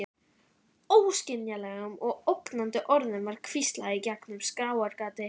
Óskiljanlegum og ógnandi orðum var hvíslað í gegnum skráargati.